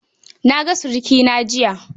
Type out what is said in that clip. Na ga surikina jiya.